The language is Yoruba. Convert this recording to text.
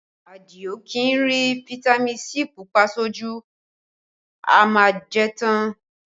Adio kì í rí fitami sii Pupa sójú, ó má a jẹ́ tán